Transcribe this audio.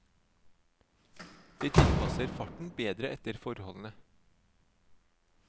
De tilpasser farten bedre etter forholdene.